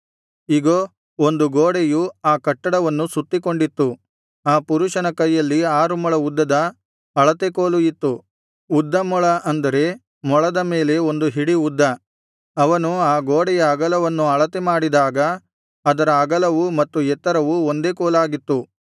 ಇಗೋ ಒಂದು ಗೋಡೆಯು ಆ ಕಟ್ಟಡವನ್ನು ಸುತ್ತಿಕೊಂಡಿತ್ತು ಆ ಪುರುಷನ ಕೈಯಲ್ಲಿ ಆರು ಮೊಳ ಉದ್ದದ ಅಳತೆ ಕೋಲು ಇತ್ತು ಉದ್ದಮೊಳ ಅಂದರೆ ಮೊಳದ ಮೇಲೆ ಒಂದು ಹಿಡಿ ಉದ್ದ ಅವನು ಆ ಗೋಡೆಯ ಅಗಲವನ್ನು ಅಳತೆ ಮಾಡಿದಾಗ ಅದರ ಅಗಲವೂ ಮತ್ತು ಎತ್ತರವೂ ಒಂದೇ ಕೋಲಾಗಿತ್ತು